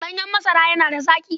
Ɗanyen masara yana da zaƙi.